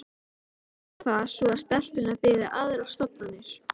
Reyndar var það svo að stelpunnar biðu aðrar stofnanir.